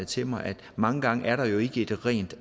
til mig at mange gange er der jo ikke et rent